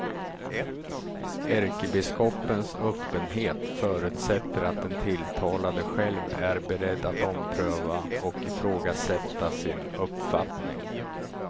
Ärkebiskopens öppenhet förutsätter att den tilltalade själv är beredd att ompröva och ifrågasätta sin uppfattning.